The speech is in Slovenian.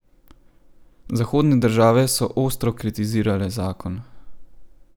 Zahodne države so ostro kritizirale zakon.